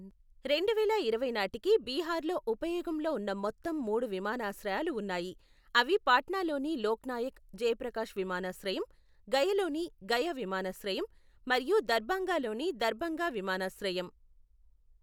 రెండువేల ఇరవై నాటికి బీహార్లో ఉపయోగంలో ఉన్న మొత్తం మూడు విమానాశ్రయాలు ఉన్నాయి, అవి పాట్నాలోని లోక్ నాయక్ జయప్రకాశ్ విమానాశ్రయం, గయలోని గయ విమానాశ్రయం మరియు దర్భంగాలోని దర్భంగా విమానాశ్రయం.